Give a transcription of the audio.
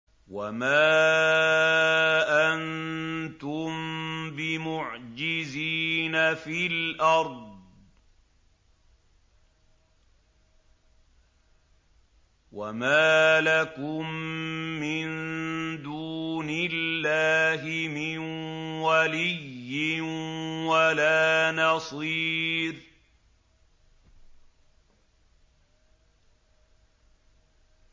وَمَا أَنتُم بِمُعْجِزِينَ فِي الْأَرْضِ ۖ وَمَا لَكُم مِّن دُونِ اللَّهِ مِن وَلِيٍّ وَلَا نَصِيرٍ